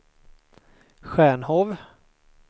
Stjärnhov